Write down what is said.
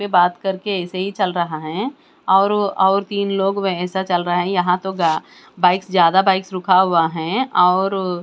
वे बात करके ऐसे ही चल रहे हैं और और और तीन लोग वे ऐसा चल रहा है यहां तो गा बाइक्स ज्यादा बाइक्स रुका हुआ है और--